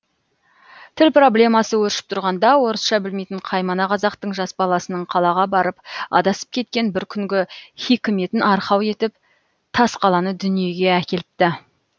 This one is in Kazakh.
тіл проблемасы өршіп тұрғанда орысша білмейтін қаймана қазақтың жас баласының қалаға барып адасып кеткен бір күнгі хикметін арқау етіп тасқаланы дүниеге әкеліпті